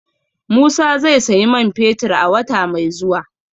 Musa zai sayi man fetir a wata mai zuwa